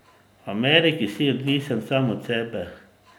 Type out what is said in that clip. V Ameriki si odvisen sam od sebe.